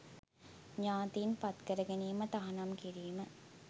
ඥාතීන් පත්කර ගැනීම තහනම් කිරීම.